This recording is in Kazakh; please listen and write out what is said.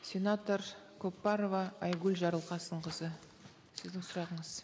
сенатор көпбарова айгүл жарылқасынқызы сіздің сұрағыңыз